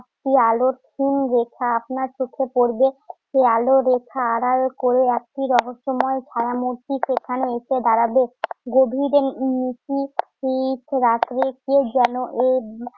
একটি আলোর ক্ষীণ রেখা আপনার চোখে পড়বে। সে আলোর রেখা আড়াল করলে একটি রহস্যময় ছায়ামূর্তি সেখানে এসে দাঁড়াবে। যদি মৃত্যু উম সে রাত্রিতে যেন এ